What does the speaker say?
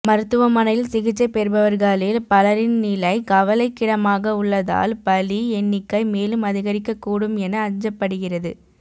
மருத்துவமனையில் சிகிச்சை பெறுபவர்களில் பலரின் நிலை கவலைக்கிடமாக உள்ளதால் பலி எண்ணிக்கை மேலும் அதிகரிக்கக்கூடும் என அஞ்சப்படுகிறது